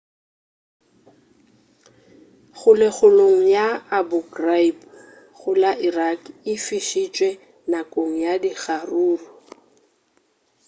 kgolegong ya abu ghraib go la iraq e fišitšwe nakong ya dikgaruru